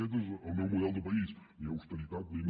aquest és el meu model de país ni austeritat ni no